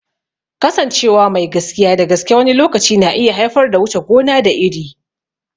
Kasancewa mai gaskiya da gaske wani lokaci na iya haifar da wuce gona da iri.